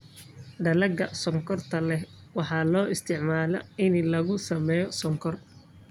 Dalagga sonkorta leh waxaa loo isticmaalaa in lagu sameeyo sonkor.